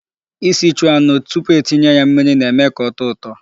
Isichu anụ tupu etinye ya mmiri na-eme ka ọ tọọ ụtọ.